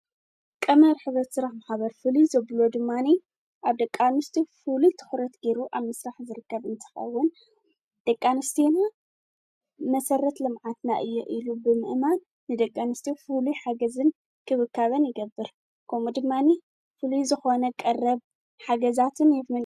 ዕቋር፣ ልቓሕ፣ ካልእ ናይ ባንክ ኣገልግሎት ዝህባ ፋይናንሳዊ ትካላት እየን። ባንክታት ብንግዳዊ መሰረት ክሰርሓ እንከለዋ፡ ሕብረት ስራሕ ማሕበራት ድማ ብኣባላተን ዝውነናን ዝቆጻጸራን እየን። ክልቲኦም ንፋይናንሳዊ ድሌታት ውልቀሰባት፡ ትካላት ንግድን ማሕበረሰባትን ይድግፉ።